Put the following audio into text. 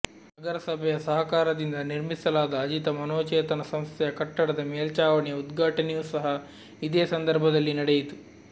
ನಗರಸಭೆಯ ಸಹಕಾರದಿಂದ ನಿರ್ಮಿಸಲಾದ ಅಜಿತ ಮನೋಚೇತನ ಸಂಸ್ಥೆಯ ಕಟ್ಟಡದ ಮೇಲ್ಚಾವಣಿಯ ಉದ್ಘಾಟನೆಯೂ ಸಹ ಇದೇ ಸಂದರ್ಭದಲ್ಲಿ ನಡೆಯಿತು